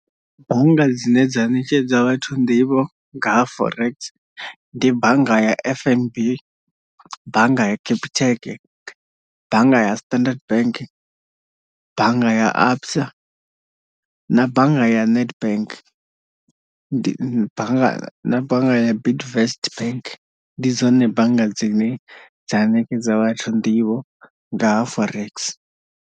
Bannga dzine dza ṋetshedza vhathu nḓivho nga ha forex ndi bannga ya F_N_B, bannga ya capitec, bannga ya Standard bank, bannga ya ABSA na bannga ya Nedbank ndi bannga na bannga ya Bidvest bank ndi dzone bannga dzine dza ṋekedza vhathu nḓivho nga ha forex.